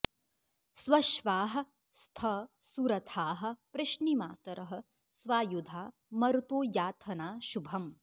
स्वश्वाः॑ स्थ सु॒रथाः॑ पृश्निमातरः स्वायु॒धा म॑रुतो याथना॒ शुभ॑म्